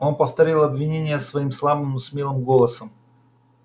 он повторил обвинения свои слабым но смелым голосом